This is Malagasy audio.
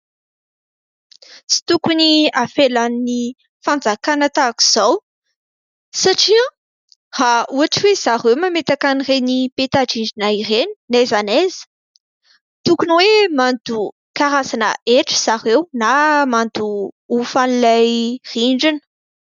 Tsy tokony avelan'ny Fanjakana tahaka izao satria raha ohatra hoe zareo mametaka an'ireny peta-drindrina ireny na aiza na aiza tokony hoe mandoa karazana hetra zareo na mandoa hofan'ilay rindrina.